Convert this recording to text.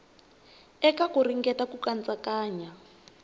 eka ku ringeta ku katsakanya